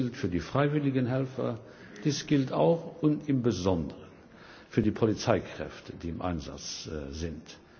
Dies gilt für die freiwilligen Helfer, dies gilt auch und im Besonderen für die Polizeikräfte, die im Einsatz sind.